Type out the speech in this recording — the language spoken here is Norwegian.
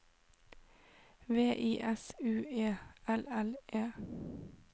V I S U E L L E